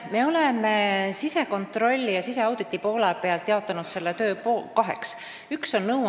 Me oleme sisekontrolli ja siseauditi poole pealt selle töö kaheks jaotanud.